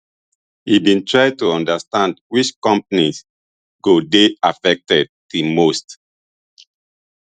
e bin try to understand which companies go dey affected di most